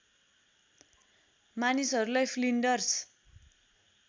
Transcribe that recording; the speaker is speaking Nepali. मानिसहरूलाई फ्लिन्डर्स